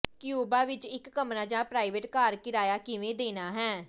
Cuba ਵਿਚ ਇਕ ਕਮਰਾ ਜਾਂ ਪ੍ਰਾਈਵੇਟ ਘਰ ਕਿਰਾਇਆ ਕਿਵੇਂ ਦੇਣਾ ਹੈ